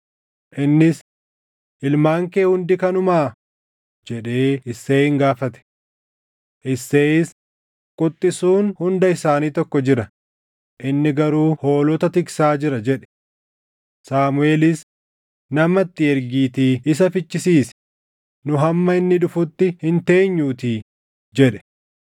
Innis, “Ilmaan kee hundi kanneenumaa?” jedhee Isseeyin gaafate. Isseeyis, “Quxxisuun hunda isaanii tokko jira; inni garuu hoolota tiksaa jira” jedhe. Saamuʼeelis, “Nama itti ergiitii isa fichisiisi; nu hamma inni dhufutti hin teenyuutii” jedhe.